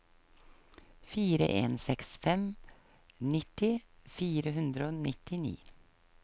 fire en seks fem nitti fire hundre og nittini